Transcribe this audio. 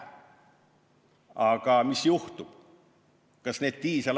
Aga mis juhtub?